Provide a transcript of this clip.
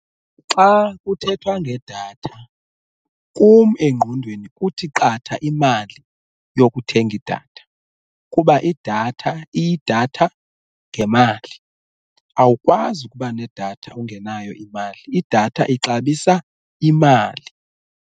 Xa kuthethwa ngedatha kum engqondweni kuthi qatha imali yokuthenga idatha kuba idatha iyidatha ngemali awukwazi ukuba nedatha ungenayo imali, idatha ixabisa imali.